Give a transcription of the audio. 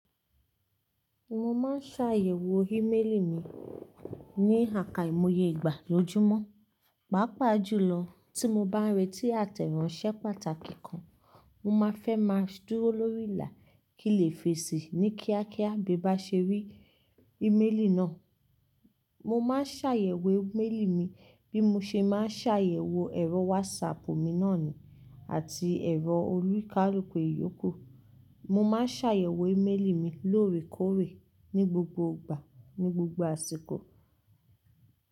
Mo máa n ṣàyẹ̀wò íméèlì mi ní àkàìmoye ìgbà lójúmọ́. Pàápàá jùlọ, tí mo bá n rẹ́tì àtẹ̀ránsẹ́ pàtàkì kan, mo máa fẹ́ máa dúró lórí ìlà kí n lè fèsì ní kíákíá bí n bá ṣe rí ìméèlì náà. Mo máa n ṣàyẹ̀wò íméèlì mi bí mo ṣe máa n ṣàyẹ̀wò ẹ̀rọ wásapù mi náà ni àti ẹ̀rọ olúkálùku ìyókù. Mo máa n ṣàyẹ̀wò íméèlì mi lóore kóòré ní gbogbo ìgbà, ní gbogbo àsìkò.